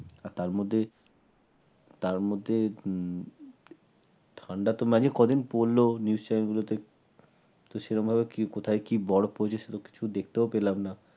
তার মধ্যে তার মধ্যে উম ঠান্ডা তো মাঝে কয়দিন পড়ল News channel গুলোতে সেরকমভাবে কি কোথায় কি বরফ পড়েছে সেটা ঠিক দেখতেও পেলাম না।